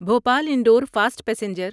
Bhopal Indore fast passenger